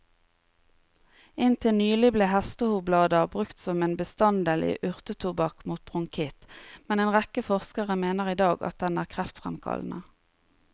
Inntil nylig ble hestehovblader brukt som en bestanddel i urtetobakk mot bronkitt, men en rekke forskere mener i dag at den er kreftfremkallende.